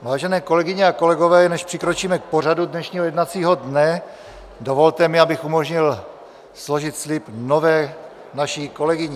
Vážené kolegyně a kolegové, než přikročíme k pořadu dnešního jednacího dne, dovolte mi, abych umožnil složit slib naší nové kolegyni.